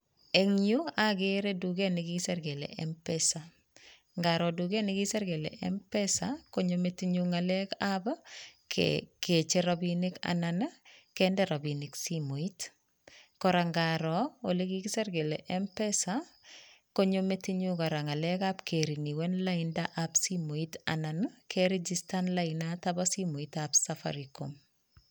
Eng yu akere duket ne kikisir kele m-pesa, ngaro duket ne kikisir kele m-pesa, konyo metinyu ngalekab kecher rabiinik anan kende rabiinik simoit, kora ngaro olekikisir kele m-pesa, konyo metinyu kora ngalekab kerinuen laindab simoit anan kerijistan lainata bo simoitab Safaricom.